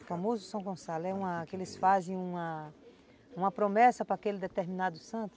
O famoso São Gonçalo, é uma, que eles fazem uma promessa para aquele determinado santo.